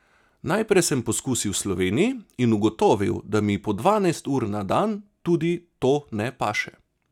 Najprej sem poskusil v Sloveniji in ugotovil, da mi po dvanajst ur na dan tudi to ne paše.